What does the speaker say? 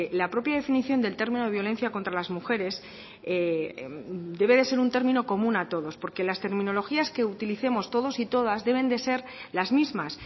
la propia definición del termino de violencia contra las mujeres debe de ser un término común a todos porque las terminologías que utilicemos todos y todas deben de ser las mismas